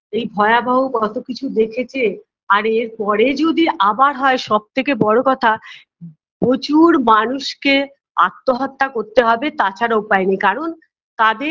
এই ভয়াবহ কতো কিছু দেখেছে আর এর পরে যদি আবার হয় সবথেকে বড়ো কথা প্রচুর মানুষকে আত্মহত্যা করতে হবে তাছাড়া উপায় নেই কারণ তাদের